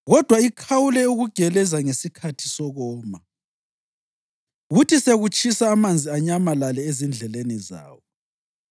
kodwa ikhawule ukugeleza ngesikhathi sokoma, kuthi sekutshisa amanzi anyamalale ezindleleni zawo.